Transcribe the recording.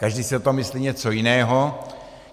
Každý si o tom myslí něco jiného.